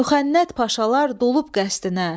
Müxənnət paşalar dolub qəsdinə.